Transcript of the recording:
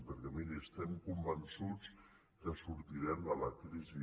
perquè mirin estem convençuts que sortirem de la crisi